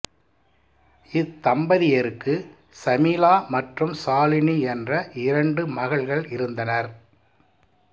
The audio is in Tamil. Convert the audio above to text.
இத்தம்பதியருக்கு சமீலா மற்றும் சாலினி என்ற இரண்டு மகள்கள் இருந்தனர்